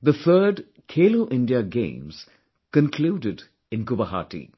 the third 'Khelo India Games' concluded in Guwahati